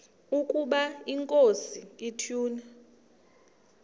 ukaba inkosi ituna